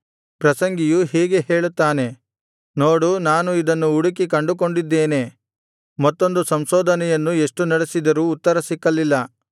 ಪ್ರಸಂಗಿಯು ಹೀಗೆ ಹೇಳುತ್ತಾನೆ ನೋಡು ನಾನು ಇದನ್ನು ಹುಡುಕಿ ಕಂಡುಕೊಂಡಿದ್ದೇನೆ ಮತ್ತೊಂದು ಸಂಶೋಧನೆಯನ್ನು ಎಷ್ಟು ನಡೆಸಿದರೂ ಉತ್ತರ ಸಿಕ್ಕಲಿಲ್ಲ